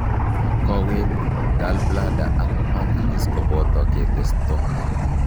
Kowet, gallbladder ak pancrease koboto ketesto